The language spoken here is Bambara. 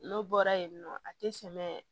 N'o bɔra yen nɔ a tɛ tɛmɛ